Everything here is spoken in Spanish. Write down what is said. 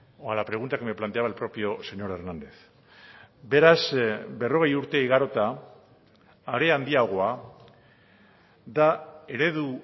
o a la pregunta que me planteaba el propio señor hernández beraz berrogei urte igarota are handiagoa da eredu